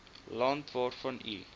land waarvan u